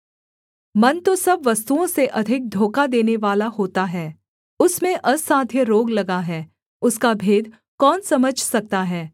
मन तो सब वस्तुओं से अधिक धोखा देनेवाला होता है उसमें असाध्य रोग लगा है उसका भेद कौन समझ सकता है